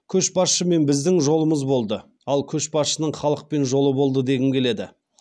көшбасшымен біздің жолымыз болды ал көшбасшының халықпен жолы болды дегім келеді